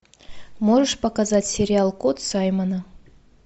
можешь показать сериал кот саймона